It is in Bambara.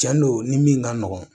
Cɛn don ni min ka nɔgɔn